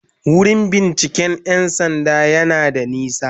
Wurin binciken 'yan sanda yana da nisa.*